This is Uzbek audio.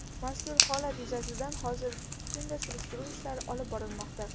Mazkur holat yuzasidan hozirgi kunda surishtiruv ishlari olib borilmoqda.